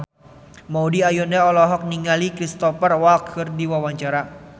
Maudy Ayunda olohok ningali Cristhoper Waltz keur diwawancara